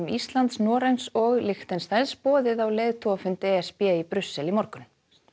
Íslands Noregs og Liechtensteins boðið á leiðtogafund e s b í Brussel í morgun